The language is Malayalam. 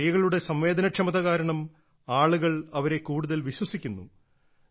സ്ത്രീകളുടെ സംവേദനക്ഷമത കാരണം ആളുകൾ അവരെ കൂടുതൽ വിശ്വസിക്കുന്നു